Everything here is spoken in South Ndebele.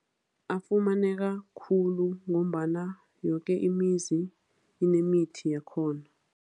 Afumaneka khulu ngombana yoke imizi inemithi yakhona.